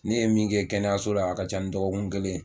Ne ye min kɛ kɛnɛyaso la a ka ca ni dɔgɔkun kelen ye.